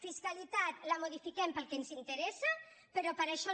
fiscalitat la modifiquem per al que ens interessa però per això no